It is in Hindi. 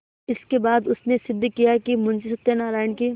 इसके बाद उसने सिद्ध किया कि मुंशी सत्यनारायण की